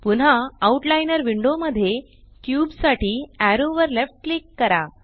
पुन्हा outliner window मध्ये cube साठी एरो वर लेफ्ट क्लिक करा